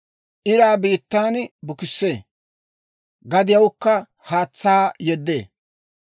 Iraa biittan bukissee; gadiyawukka haatsaa yeddee.